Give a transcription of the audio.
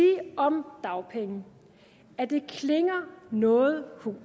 om det dagpengene at det klinger noget hult